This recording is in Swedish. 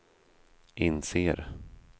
inser